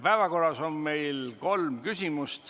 Päevakorras on meil kolm punkti.